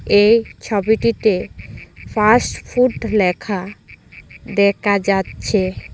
এই ছবিটিতে fast food লেখা দেখা যাচ্ছে।